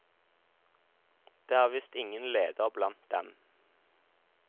Det er visst ingen leder blant dem.